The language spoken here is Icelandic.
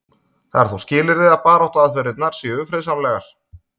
Það er þó skilyrði að baráttuaðferðirnar séu friðsamlegar.